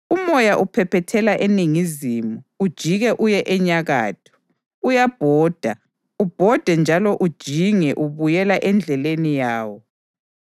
Umoya uphephethela eningizimu ujike uye enyakatho; uyabhoda, ubhode njalo ujinge ubuyela endleleni yawo.